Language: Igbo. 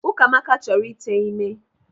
Ukamaka chọrọ ịte ime.